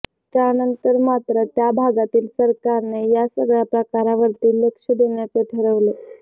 त्यानंतर मात्र त्या भागातील सरकारने या सगळ्या प्रकारावरती लक्ष देण्याचे ठरवले